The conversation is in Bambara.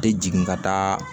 Tɛ jigin ka taa